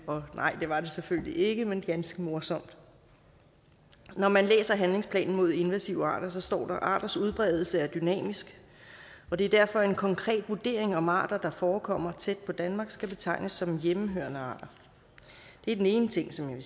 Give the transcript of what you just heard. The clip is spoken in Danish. og nej det var det selvfølgelig ikke men det var ganske morsomt når man læser handlingsplanen mod invasive arter så står at arters udbredelse er dynamisk og det er derfor en konkret vurdering om arter der forekommer tæt på danmark skal betegnes som hjemmehørende arter det er den ene ting som jeg